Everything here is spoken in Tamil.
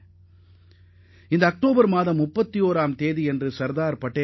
இந்த ஆண்டு அக்டோபர் 31 அன்று மேலும் ஒரு சிறப்பு சேரவுள்ளது